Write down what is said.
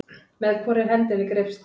Með hvorri hendinni greipstu?